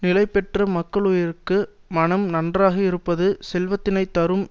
நிலைபெற்ற மக்களுயிர்க்கு மனம் நன்றாக இருப்பது செல்வத்தினை தரும்